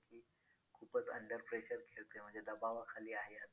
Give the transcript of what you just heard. खूपच under pressure खेळतोय म्हणजे दबावाखाली आहे.